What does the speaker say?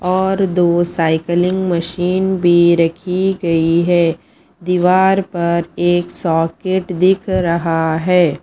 और दो cycling machine भी रखी गई है दीवार पर एक सॉकेट दिख रहा है।